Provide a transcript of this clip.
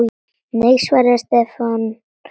Nei svaraði Stefán önugur.